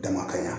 Dama kaɲan